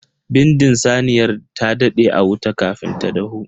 Bindin saniyar ta dade a wuta kafin ta dahu.